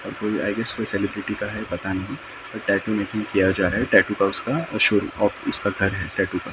कोई I guess कोई celebrity का है पता नहीं कोई टाइपिंग किया जा रहा हैं टैटू का उसका और उसका घर है टैटू का।